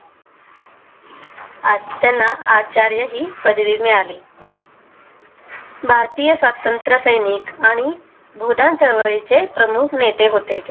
आता ना आचार्य ही पदवी मिळाली भारतीय स्वातंत्र्यसैनिक आणि बोधा जवळ चे प्रमुख नेते होते ते